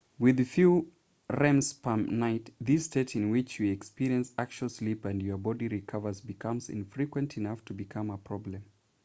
with fewer rems per night this state in which you experience actual sleep and your body recovers becomes infrequent enough to become a problem